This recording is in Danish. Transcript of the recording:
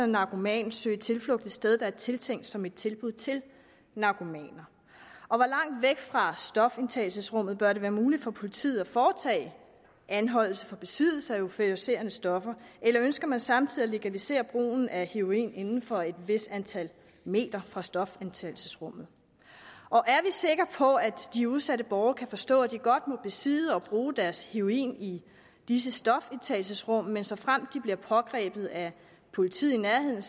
narkoman søge tilflugt et sted der er tiltænkt som et tilbud til narkomaner hvor langt væk fra stofindtagelsesrummet bør det være muligt for politiet at foretage anholdelse for besiddelse af euforiserende stoffer eller ønsker man samtidig at legalisere brugen af heroin inden for et vist antal meter fra stofindtagelsesrummet og er vi sikre på at de udsatte borgere kan forstå at de godt må besidde og bruge deres heroin i disse stofindtagelsesrum men såfremt de bliver pågrebet af politiet i nærheden